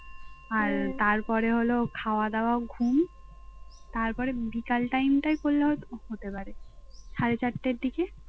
আর তারপরে হলো খাওয়া দাওয়া ঘুম তারপর বিকেল টাইম টায় কড়লে হতে পারে সাড়ে চারটার দিকে